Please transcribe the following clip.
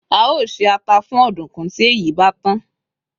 a o ṣe ata fún ọdunkun ti èyí bá tàn